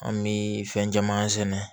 An bɛ fɛn caman sɛnɛ